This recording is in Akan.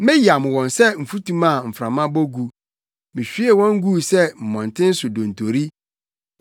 Meyam wɔn sɛ mfutuma a mframa bɔ gu; mihwiee wɔn guu sɛ mmɔnten so dontori.